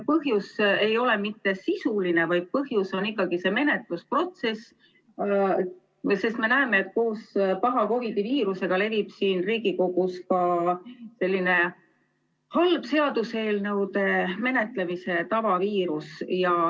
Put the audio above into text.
Põhjus ei ole mitte sisuline, vaid põhjus on ikkagi see menetlusprotsess, sest me näeme, et koos paha COVID-19 viirusega levib siin Riigikogus ka selline halva seaduseelnõude menetlemise tava viirus.